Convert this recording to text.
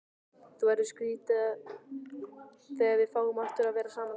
Það verður skrýtið þegar við fáum aftur að vera saman.